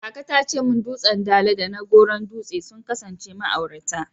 Kaka ta ce min dutsen Dala da na Goron Dutse sun kasance ma'aurata.